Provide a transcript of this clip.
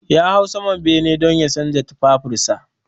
Ya hau saman bene dan ya canja tufafinsa.